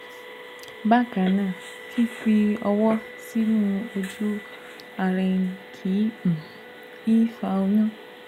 Bákan náà, fífi ọwọ́ sínú ojú-ara ẹni kì um í fa oyún